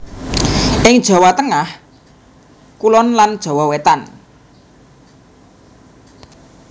Ing Jawa Tengah Jawa Kulon lan Jawa Wetan